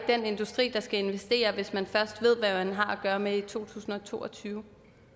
den industri der skal investere hvis man først ved hvad man har at gøre med i 2022